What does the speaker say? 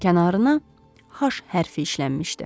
Kənarına H hərfi işlənmişdi.